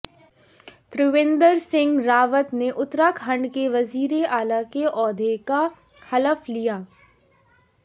تریویندر سنگھ راوت نے اتراکھنڈ کے وزیراعلی کے عہدے کا حلف لیا